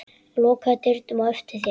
Lokaðu dyrunum á eftir þér.